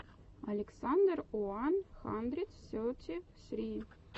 александр уан хандрид сети сри